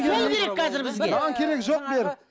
сол керек қазір бізге маған керегі жоқ беріп